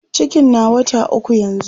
cikin na wata ukwu yanzun